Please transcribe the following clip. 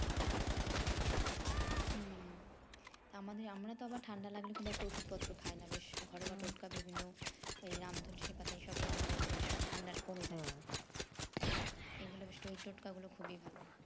হুম আমাদের আমরা তো আবার ঠান্ডা লাগলে খুব একটা ওষুধ পত্র খাই না বেশ ঘরোয়া টোটকা বিভিন্ন ওই রাম তুলসীপাতাই সবই আমাদের বেশ ঠান্ডা টা কমে যায় এই গুলো বেশ টয় টোটকা গুলো খুবই ভালো